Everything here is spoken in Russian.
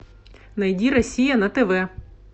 найди россия на тв